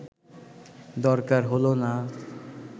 দরকার হল না